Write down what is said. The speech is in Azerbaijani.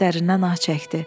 deyə dərindən ah çəkdi.